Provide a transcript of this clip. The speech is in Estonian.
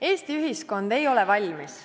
" Eesti ühiskond ei ole valmis.